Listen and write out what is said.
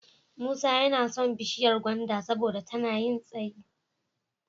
Musa yana son bishiyar gwanda saboda tana yin tsayi.